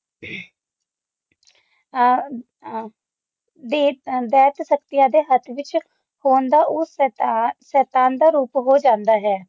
ਆ ਆ ਦਿਤੇ ਦੈਤ ਸਕਤੀ ਅਤੇ ਹੱਥ ਵਿੱਚ ਦਾ ਹੋਂਦ ਉਸ ਦੇ ਸ਼ੇਤਾਨ ਦਾ ਰੂਪ ਹੋ ਜਾਂਦਾ ਹੈ